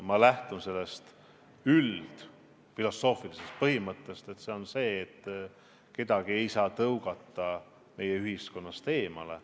Ma lähtun üldfilosoofilisest põhimõttest, et kedagi ei saa tõugata meie ühiskonnast eemale.